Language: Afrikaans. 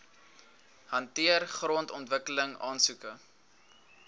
hanteer grondontwikkeling aansoeke